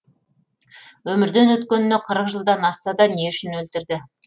өмірден өткеніне қырық жылдан асса да не үшін өлтірді